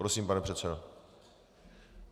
Prosím, pane předsedo.